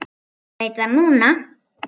Veit það núna.